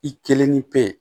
I kelen ni pe